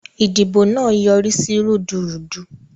Idibo naa yorisi rudurudu.